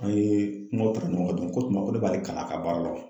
An ye kumaw ta ɲɔgɔn kan dɔɔni k'o kuma ne b'ale kalan a ka baara la wa ?